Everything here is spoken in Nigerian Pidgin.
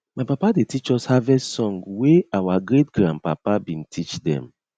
my papa dey teach us harvest song wey our greatgrandpapa bin teach them